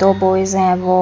दो बॉयज हैं वो --